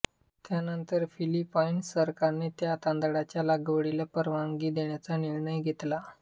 त्यानंतर फिलिपाईन्स सरकारने या तांदळाच्या लागवडीला परवानगी देण्याचा निर्णय घेतला